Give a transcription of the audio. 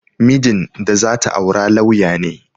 Mijin da za ta aura lauya ne